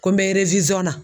Ko n bɛ na